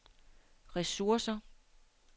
ressourcer